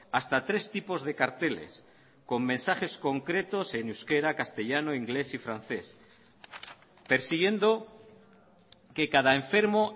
hasta tres tipos de carteles con mensajes concretos en euskera castellano inglés y francés persiguiendo que cada enfermo